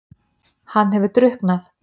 Hann hefur drukknað!